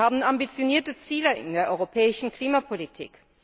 Wir haben ambitionierte Ziele in der europäischen Klimapolitik.